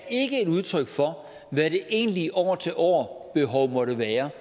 ikke er et udtryk for hvad det egentlige år til år behov måtte være